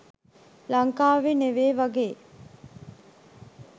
ලංකාවේ නෙවේ වගේ.